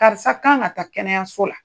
Karisa kan ka taa kɛnɛyaso la.